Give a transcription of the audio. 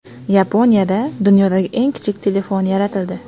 Yaponiyada dunyodagi eng kichik telefon yaratildi.